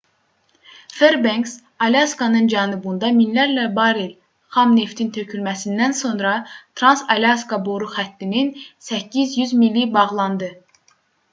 ferbenks alyaskanın cənubunda minlərlə barel xam neftin tökülməsindən sonra trans-alyaska boru xəttinin 800 mili bağlandı